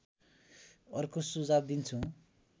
अर्को सुझाव दिन्छु